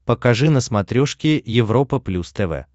покажи на смотрешке европа плюс тв